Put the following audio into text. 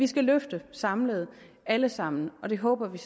skal løfte samlet alle sammen og det håber vi